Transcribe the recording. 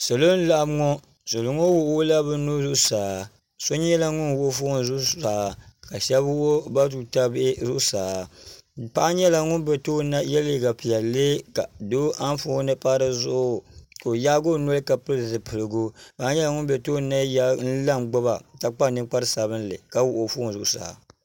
Salo n laɣim ŋɔ salo ŋɔ wuɣila bi nuhi zuɣusaa so nyɛla ŋuni wuɣi foon zuɣusaa ka shɛba wuɣi bi tuuta bihi zuɣusaa paɣa nyɛla ŋuni bɛ tooni ni na n ye liiga piɛlli ka doo anfooni pa di zuɣu ka o yaagi o noli ka pili zipiligu paɣa nyɛla ŋuni bɛ tooni n yaai n la ngbuba ka kpa ninkpara sabinli ka wuɣi foon zuɣusaa.